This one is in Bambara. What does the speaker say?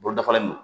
Bolo dafalen don